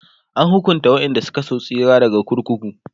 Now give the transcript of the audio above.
an hukunta waƴanda Suka so tsira daga kurkuku